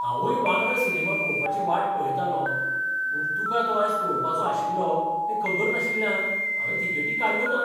हांवूय वांगडा सिनेमा पळोवपाची वाट पळयतालों, पूण तुका तो आयज पळोवपाचो आशिल्लो हें खबर नाशिल्ल्यान हांवें तिकेटी काडल्यो नात.